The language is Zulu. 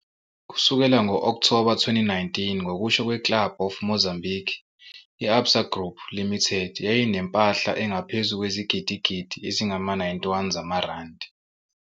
Kusukela ngo-Okthoba 2019, ngokusho "kweClub of Mozambique", i-Absa Group Limited yayinempahla engaphezu kwezigidigidi ezingama-91 zamaRandi.